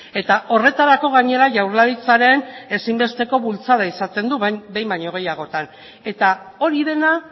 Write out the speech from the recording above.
eta horretarako gainera jaurlaritzaren ezinbesteko bultzada izaten du behin baino gehiagotan eta hori dena